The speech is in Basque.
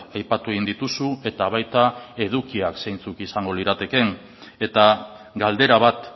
aipatu egin dituzu eta baita edukiak zeintzuk izango liratekeen eta galdera bat